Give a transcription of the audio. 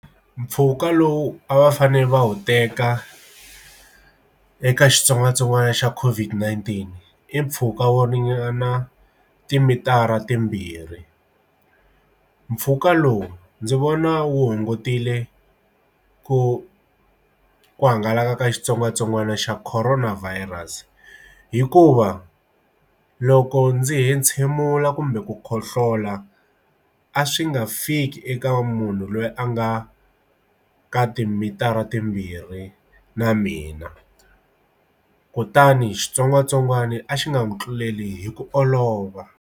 Mpfhuka lowu a va fanele va wu teka eka xitsongwatsongwana xa COVID-19 i mpfhuka wo ringana timitara timbirhi mpfhuka lowu ndzi vona wu hungutile ku ku hangalaka ka xitsongwatsongwana xa Corona Virus hikuva loko ndzi hentshemula kumbe ku khohlola hlola a swi nga fiki eka munhu loyi a nga ka timitara timbirhi na mina kutani xitsongwatsongwana a xi nga n'wi tluleli hi ku olova.